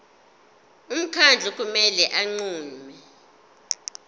umkhandlu kumele unqume